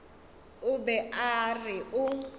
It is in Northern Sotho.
o be a re o